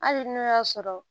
Hali n'o y'a sɔrɔ